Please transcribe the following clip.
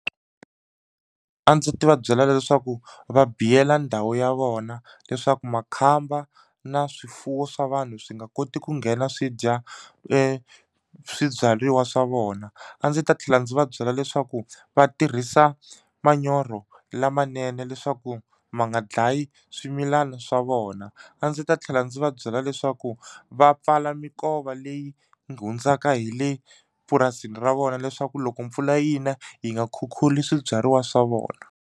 A ndzi ta va byela leswaku va biyela ndhawu ya vona leswaku makhamba na swifuwo swa vanhu swi nga koti ku nghena swi dya swibyariwa swa vona a ndzi ta tlhela ndzi va byela leswaku va tirhisa manyoro lamanene leswaku ma nga dlayi swimilana swa vona a ndzi ta tlhela ndzi va byela leswaku va pfala mikova leyi hundzaka hi le purasini ra vona leswaku loko mpfula yi na yi nga khukhuli swibyariwa swa vona.